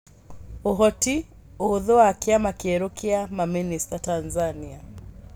Ũhoti, ũhũthũ wa kĩama kĩerũ kĩa mamĩnĩsta Tanzania.